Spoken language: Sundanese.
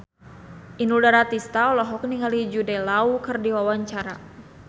Inul Daratista olohok ningali Jude Law keur diwawancara